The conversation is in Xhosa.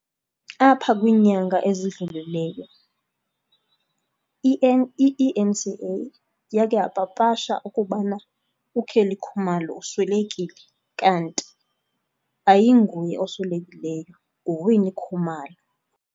Apha kwinyanga ezidlulileyo i-E_N_C_A yakhe yapapashe ukubana uKelly Khumalo uswelekile kanti ayinguye oswelekileyo, nguWinnie Khumalo.